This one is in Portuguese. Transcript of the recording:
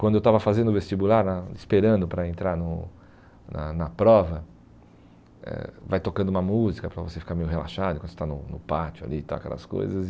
Quando eu estava fazendo o vestibular na, esperando para entrar no na na prova, eh vai tocando uma música para você ficar meio relaxado, quando você está no pátio ali e tal, aquelas coisas e...